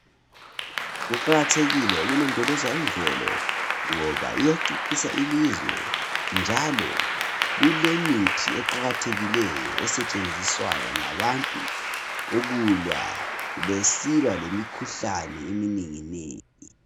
Kuqakathekile ukulondoloza imvelo ngoba iyacecisa ilizwe njalo kulemithi eqakathekileyo esetshenziswa ngabantu ukulwa besilwa lemikhuhlane eminenginengi .